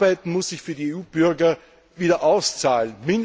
Arbeit muss sich für die EU Bürger wieder auszahlen.